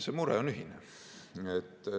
See mure on ühine.